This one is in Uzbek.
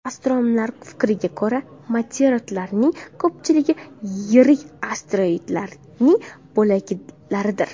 Astronomlar fikriga ko‘ra, meteoritlarning ko‘pchiligi yirik asteroidlarning bo‘laklaridir.